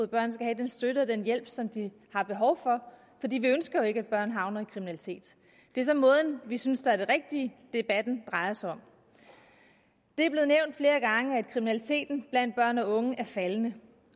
børn skal have den støtte og den hjælp som de har behov for fordi vi ønsker jo ikke at børn havner i kriminalitet det er så måden vi synes er den rigtige debatten drejer sig om det er blevet nævnt flere gange at kriminaliteten blandt børn og unge er faldende